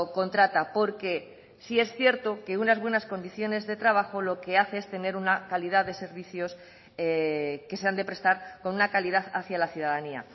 contrata porque sí es cierto que unas buenas condiciones de trabajo lo que hace es tener una calidad de servicios que se han de prestar con una calidad hacia la ciudadanía